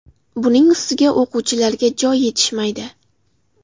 Buning ustiga, o‘quvchilarga joy yetishmaydi.